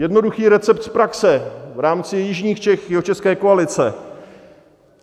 Jednoduchý recept z praxe v rámci jižních Čech, jihočeské koalice.